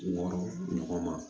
Wɔɔrɔ ɲɔgɔn ma